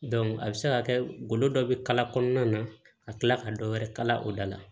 a bɛ se ka kɛ golo dɔ bɛ kala kɔnɔna na ka tila ka dɔ wɛrɛ kala o da la